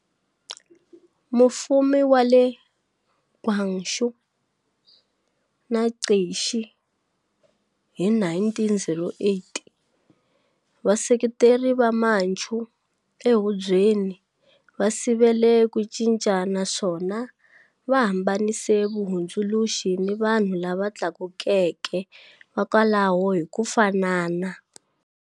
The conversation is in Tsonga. Mufumi wa le Guangxu na Cixi hi 1908, vaseketeri va Manchu ehubyeni va sivele ku cinca naswona va hambanise vahundzuluxi ni vanhu lava tlakukeke va kwalaho hi ku fanana.